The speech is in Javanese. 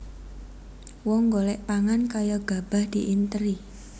Wong golek pangan kaya gabah diinteri